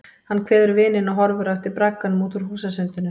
Hann kveður vininn og horfir á eftir bragganum út úr húsasundinu.